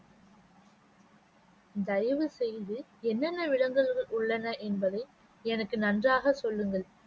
தயவுசெய்து என்னென்ன விலங்குகள் உள்ளன என்பதை எனக்கு நன்றாக சொல்லுங்கள்